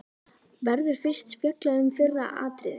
Verður fyrst fjallað um fyrra atriðið.